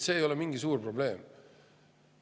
See ei ole mingi suur probleem.